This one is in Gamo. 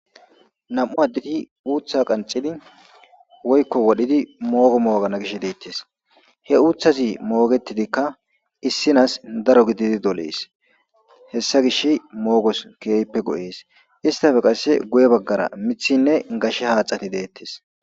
nam7u addeti uutha qancidi woykko wodhidi moogo moogana gish deettes he uuthazi moogetidikka issinas daro gididi dolees hessa gish moogos keehppe go7ees istafe qasse guye baggara mithinne gashe haaxati deettes